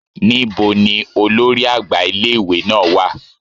níbo ní olórí àgbà ìlé-ìwé náá wà?